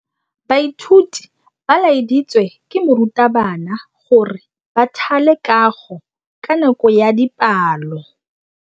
Baithuti ba laeditswe ke morutabana gore ba thale kagô ka nako ya dipalô.